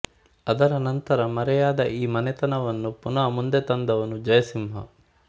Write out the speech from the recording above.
ಅದರ ನಂತರ ಮರೆಯಾದ ಈ ಮನೆತನವನ್ನು ಪುನಃ ಮುಂದೆ ತಂದವನು ಜಯಸಿಂಹ